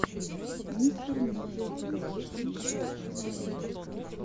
мистер медиа продакшн лучший эпизод